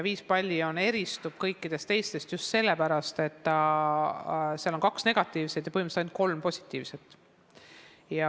Viiepallisüsteem eristub kõikidest teistest just selle poolest, et seal on kaks negatiivset ja põhimõtteliselt ainult kolm positiivset hinnet.